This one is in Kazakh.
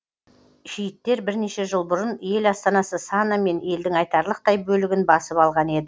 шииттер бірнеше жыл бұрын ел астанасы сана мен елдің айтарлықтай бөлігін басып алған еді